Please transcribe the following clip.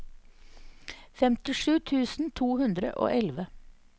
femtisju tusen to hundre og elleve